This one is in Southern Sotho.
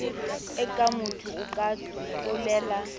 e kangmotho o ka tlolela